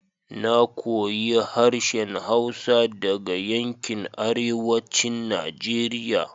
Na koyi harshen hausa daga yankin arewacin Najeriya